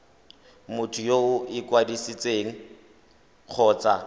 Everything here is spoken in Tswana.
motho yo o ikwadisitseng kgotsa